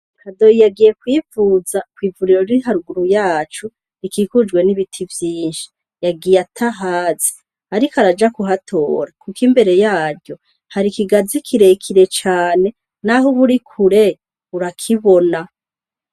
Hadoyi yagiye kwivuza kw'ivuriro ririharuguru yacu rikikujwe n'ibiti vyinshi yagiye ata hazi, ariko araja ku hatora, kuko imbere yaryo hari ikigazi kirekire cane, naho uburi kure urakibona.